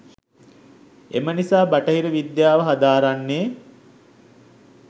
එම නිසා බටහිර විද්‍යාව හදාරන්නේ